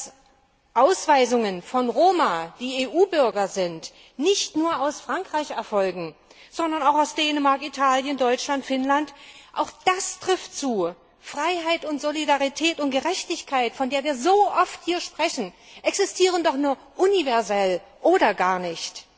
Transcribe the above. Dass Ausweisungen von Roma, die EU Bürger sind, nicht nur aus Frankreich erfolgen, sondern auch aus Dänemark, Italien, Deutschland, Finnland auch das trifft zu! Freiheit, Solidarität und Gerechtigkeit, von der wir so oft hier sprechen, existieren doch nur universell oder gar nicht.